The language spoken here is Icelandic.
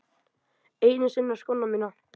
Einu sinni á skóna mína.